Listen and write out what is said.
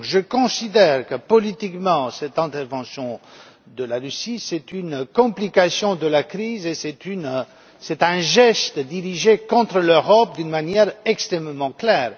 Je considère que, politiquement, cette intervention de la Russie est une complication de la crise et un geste dirigé contre l'Europe, d'une manière extrêmement claire.